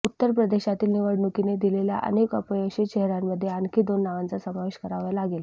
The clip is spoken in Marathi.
उत्तर प्रदेशातील निवडणुकीने दिलेल्या अनेक अपयशी चेहऱ्यांमध्ये आणखी दोन नावांचा समावेश करावा लागेल